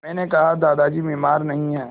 मैंने कहा कि दादाजी बीमार नहीं हैं